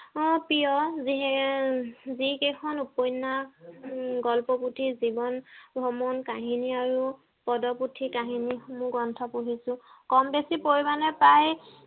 উম প্ৰিয় যিহে যি কেইখন উপন্যাস গ্ৰন্থ পুথি জীৱন ভ্ৰমণ কাহিনী আৰু পদ পুথি কাহিনী সমুহ পঢ়িছো কম বেছি পৰিমানে প্ৰায়